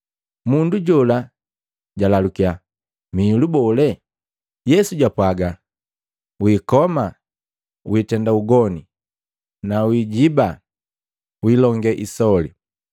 Mundu jola jwalalukia, “Mihilu bole?” Yesu jwapwaga, “Wiikoma na wiitenda ugoni na wiijiba na wiilonge isoli,